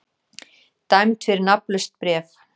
Dæmd fyrir nafnlaust bréf